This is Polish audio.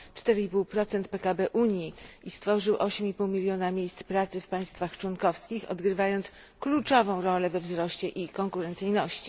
4,5 PKB Unii i stworzył 8,5 miliona miejsc pracy w państwach członkowskich, odgrywając kluczową rolę we wzroście i konkurencyjności.